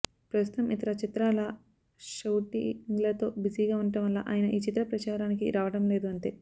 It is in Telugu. ప్రస్తుతం ఇతర చిత్రాల షఉటింగ్లతో బిజీగా వుండటం వల్ల ఆయన ఈ చిత్ర ప్రచారానికి రావడం లేదు అంతే